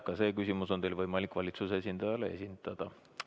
Ka see küsimus on teil võimalik valitsuse esindajale esitada.